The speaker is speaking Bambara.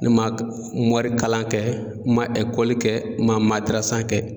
Ne ma morikalan kɛ n ma Ekɔli kɛ n ma madarasa kɛ